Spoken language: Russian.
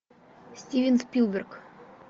стивен спилберг